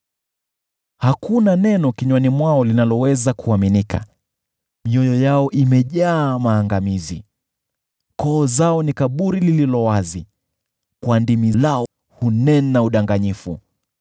Hakuna neno kinywani mwao linaloweza kuaminika, mioyo yao imejaa maangamizi. Koo lao ni kaburi lililo wazi, kwa ndimi zao, wao hunena udanganyifu.